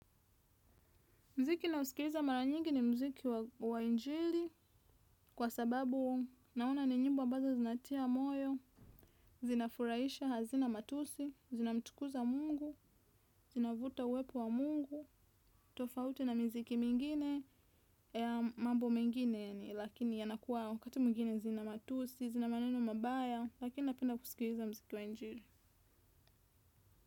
Muziki ninaousikiliza mara nyingi ni muziki wa injili kwa sababu ni nyimbo ambazo zinatia moyo, zinafurahisha, hazina matusi, zinamtukuza Mungu, zinavuta uwepo wa Mungu, tofauti na miziki mingine. Mambo mengine ni, lakini yanakuwa wakati mwingine zina matusi, zina maneno mabaya, lakini napenda kusikiliza muziki wa injili.